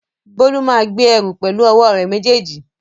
Bólú máa gbé ẹrù pẹ̀lú ọwọ́ rẹ̀ méjèèjì